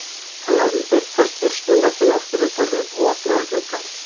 Hann lagði þykka skýrslumöppuna á skrifborðið og opnaði gluggann